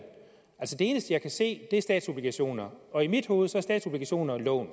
eneste jeg kan se er statsobligationer og i mit hoved er statsobligationer lån